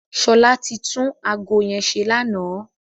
Ṣọlá ti tún ago yẹn ṣe lánàá.